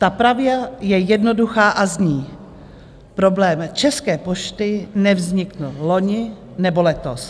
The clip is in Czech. Ta pravda je jednoduchá a zní: Problém České pošty nevznikl loni nebo letos.